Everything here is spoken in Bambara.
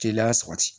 Teliya sabati